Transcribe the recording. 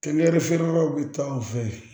Kɛlɛ feerebagaw bɛ taa anw fɛ yen